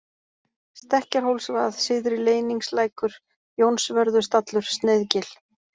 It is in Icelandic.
Stekkjarhólsvað, Syðri-Leyningslækur, Jónsvörðustallur, Sneiðgil